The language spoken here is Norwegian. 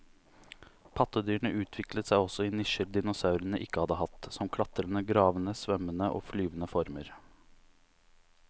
Pattedyrene utviklet seg også i nisjer dinosaurene ikke hadde hatt, som klatrende, gravende, svømmende og flyvende former.